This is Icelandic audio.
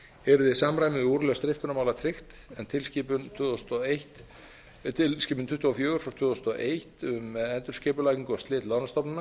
yrði samræmi við úrlausn riftunarmála tryggt en tilskipun tuttugu og fjórir frá tvö þúsund og eitt um endurskipulagningu og slit lánastofnana